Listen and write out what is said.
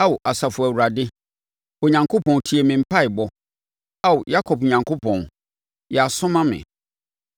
Ao Asafo Awurade, Onyankopɔn tie me mpaeɛbɔ; Ao Yakob Onyankopɔn, yɛ aso ma me.